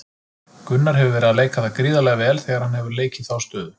Gunnar hefur verið að leika það gríðarlega vel þegar hann hefur leikið þá stöðu.